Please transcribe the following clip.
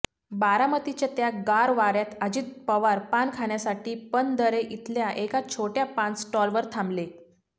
बारामतीच्या त्या गार वाऱ्यात अजित पवार पान खाण्यासाठी पणदरे इथल्या एका छोट्या पान स्टॉलवर थांबले